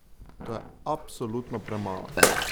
To je absolutno premalo!